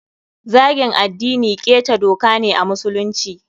Zagin addini ƙeta doka ne a musulunci.